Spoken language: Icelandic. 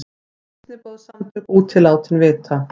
Kristniboðssamtök úti látin vita